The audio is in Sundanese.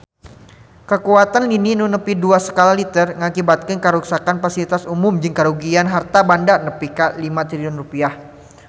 Kakuatan lini nu nepi dua skala Richter ngakibatkeun karuksakan pasilitas umum jeung karugian harta banda nepi ka 5 triliun rupiah